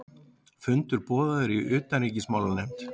Fundur boðaður í utanríkismálanefnd